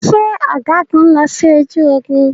Ṣé ọ̀gágun lọ sí ojú ogun?